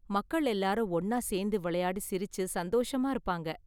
மக்கள் எல்லாரும் ஒன்னா சேர்ந்து விளையாடி சிரிச்சு சந்தோஷமா இருப்பாங்க.